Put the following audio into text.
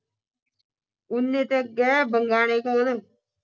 ਉਨੇ ਦੇ ਅੱਗੇ ਕੋਲ